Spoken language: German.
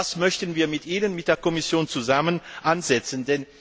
Das möchten wir mit Ihnen, mit der Kommission zusammen, ansetzen.